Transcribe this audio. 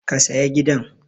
Ka saya gidan!